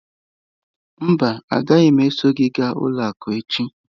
Mba, agaghị m eso gị gaa ụlọ akụ echi.